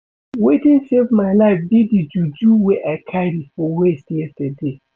Wetin save my life be the juju wey I carry for waist yesterday